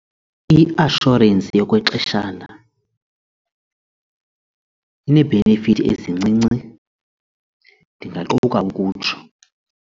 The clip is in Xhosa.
I-assurance yokwexeshana inee-benefits ezincinci ndingaquka ukutsho.